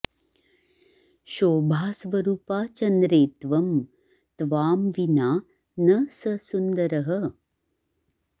शोभास्वरूपा चन्द्रे त्वं त्वां विना न स सुन्दरः